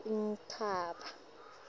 enkhaba